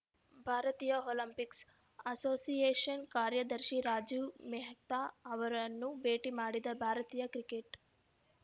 ಭಾರತೀಯ Olympics association ಕಾರ್ಯದರ್ಶಿ ರಾಜೀವ್‌ ಮೆಹ್ತಾ ಅವರನ್ನು ಭೇಟಿ ಮಾಡಿದ ಭಾರತೀಯ ಕ್ರಿಕೆಟ್‌